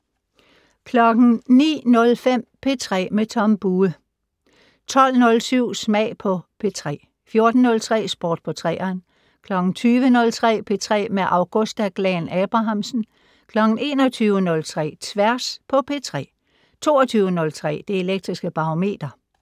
09:05: P3 med Tom Bue 12:07: Smag på P3 14:03: Sport på 3'eren 20:03: P3 med Augusta Glahn-Abrahamsen 21:03: Tværs på P3 22:03: Det Elektriske Barometer